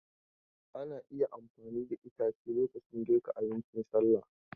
Ana iya amfani da itace lokacin girka abincin salla.